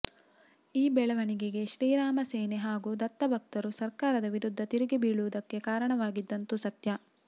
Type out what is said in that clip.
ಈ ಬೆಳವಣಿಗೆಗೆ ಶ್ರೀರಾಮಸೇನೆ ಹಾಗೂ ದತ್ತ ಭಕ್ತರು ಸರ್ಕಾರದ ವಿರುದ್ಧ ತಿರುಗಿ ಬೀಳುವುದಕ್ಕೆ ಕಾರಣವಾಗಿದ್ದಂತೂ ಸತ್ಯ